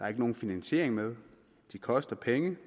er nogen finansiering med at de koster penge